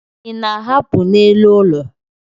Ị na-ahapụ n'elu ụlọ?